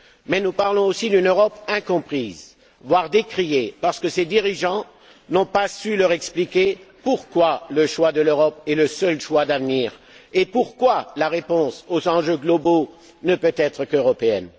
Mais nous parlons aussi d'une Europe incomprise, voire décriée, parce que ses dirigeants n'ont pas su expliquer pourquoi le choix de l'Europe est le seul choix d'avenir et pourquoi la réponse aux enjeux globaux ne peut être qu'européenne.